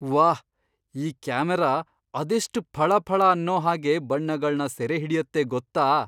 ವಾಹ್! ಈ ಕ್ಯಾಮರಾ ಅದೆಷ್ಟ್ ಫಳಫಳ ಅನ್ನೋ ಹಾಗೆ ಬಣ್ಣಗಳ್ನ ಸೆರೆಹಿಡ್ಯತ್ತೆ ಗೊತ್ತಾ?!